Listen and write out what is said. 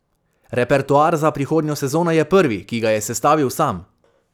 Repertoar za prihodnjo sezono je prvi, ki ga je sestavil sam.